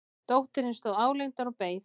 Dóttirin stóð álengdar og beið.